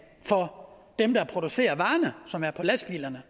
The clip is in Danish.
for dem der producerer varerne som er på lastbilerne